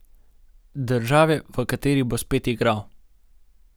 Države, v kateri bo spet igral.